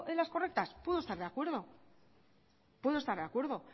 las correctas puedo estar de acuerdo puedo estar de acuerdo